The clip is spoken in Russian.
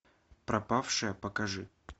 пропавшая покажи